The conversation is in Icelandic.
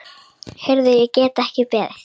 Heyrðu, ég get ekki beðið.